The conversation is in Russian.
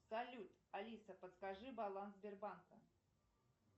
салют алиса подскажи баланс сбербанка